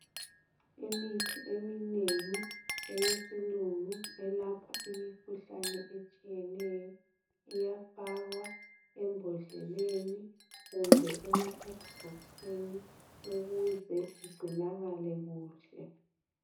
Imithi eminengi eyesilungu elapha imikhuhlane etshiyeneyo. Iyafakwa embodleleni kumbe emakadibhokisini ukuze igcinakale kuhle.